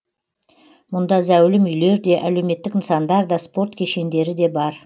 мұнда зәулім үйлер де әлеуметтік нысандар да спорт кешендері де бар